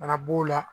Bana b'o la